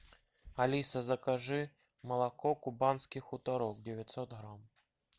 алиса закажи молоко кубанский хуторок девятьсот грамм